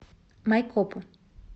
майкопу